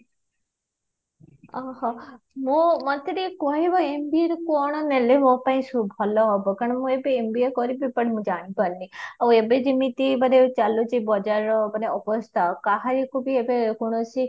ଓହୋ ମତେ ଟିକେ କହିବା MBA ରେ କଣ ନେଲେ ମୋ ପାଇଁ ଭଲ ହବ କାରଣ ମୁଁ ଏବେ MBA କରିବି but ମୁଁ ଜାଣି ପାରୁନି ଆଉ ଏବେ ଯେମିତି ଚାଲୁଚି ବଜାର ର ମାନେ ଅବସ୍ଥା ମାନେ କାହାରିକୁବି ଏବେ କୌଣସି